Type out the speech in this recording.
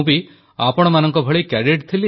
ମୋତେ ମଧ୍ୟ କିଛି ସ୍ମୃତିକୁ ସତେଜ କରିବାର ସୁଯୋଗ ମିଳିଯିବ